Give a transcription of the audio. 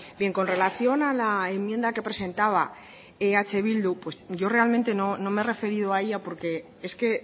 bien con relación a la enmienda que presentaba eh bildu yo realmente no me he referido a ella porque es que